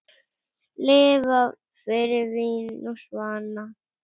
Lifa fyrir vín og svanna.